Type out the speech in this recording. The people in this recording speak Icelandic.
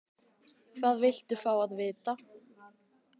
Hvað viltu fá að vita?